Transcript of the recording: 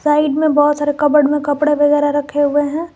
Side में बहोत सारे कबर्ड में कपड़े वगैरा रखे हुए हैं।